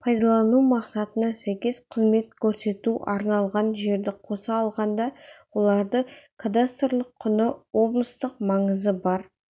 пайдаланылу мақсатына сәйкес қызмет көрсетуге арналған жерді қоса алғанда оларды кадастрлық құны облыстық маңызы бар